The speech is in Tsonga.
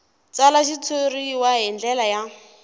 tsala xitshuriwa hi ndlela ya